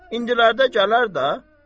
İndilərdə gələr də.